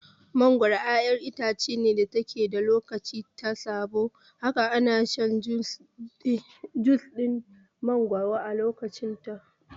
Mangoro ƴaƴar itace ce da take da lokacin ta saboda haka ina shan jus ɗin mangoro a lokacin ta ne